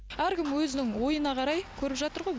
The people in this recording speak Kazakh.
әркім өзінің ойына қарай көріп жатыр ғой